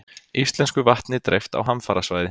Íslensku vatni dreift á hamfarasvæði